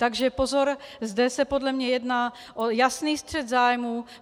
Takže pozor - zde se podle mě jedná o jasný střet zájmů.